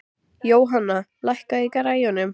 Jóanna, lækkaðu í græjunum.